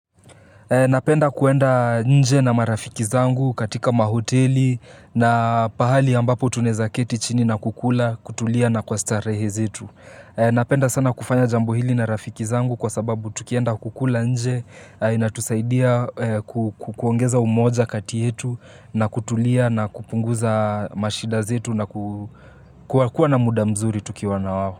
Napenda kuenda nje na marafiki zangu katika mahoteli na pahali ambapo tunaeza keti chini na kukula, kutulia na kwa starehe zetu. Napenda sana kufanya jambo hili na rafiki zangu kwa sababu tukienda kukula nje inatusaidia kuongeza umoja kati yetu, na kutulia na kupunguza mashida zetu na kukuwa na muda mzuri tukiwa na wao.